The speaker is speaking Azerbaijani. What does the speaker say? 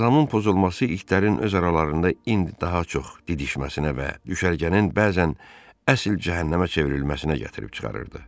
İntizamın pozulması itlərin öz aralarında indi daha çox didişməsinə və düşərgənin bəzən əsl cəhənnəmə çevrilməsinə gətirib çıxarırdı.